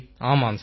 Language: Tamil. ஆமாம் சார்